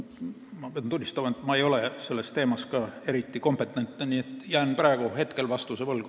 Ma pean tunnistama, et ma ei ole ka eriti kompetentne selle teema puhul, nii et jään teile praegu vastuse võlgu.